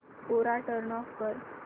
कोरा turn off कर